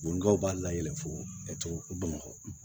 Bɔnnkaw b'a layɛ fɔ bamakɔ